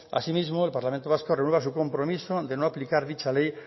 asimismo el parlamento vasco renueva su compromiso de no aplicar dicha ley